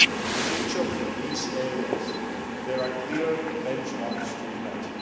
In each of these areas, there are clear benchmarks to be met.